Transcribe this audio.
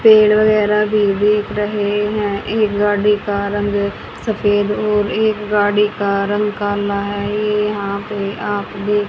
पेड़ वगैरा भी दिख रहे हैं एक गाड़ी का रंग सफेद और एक गाड़ी का रंग काला है ये यहां पे आप देख --